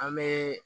An bɛ